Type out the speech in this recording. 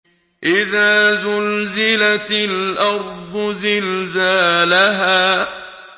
إِذَا زُلْزِلَتِ الْأَرْضُ زِلْزَالَهَا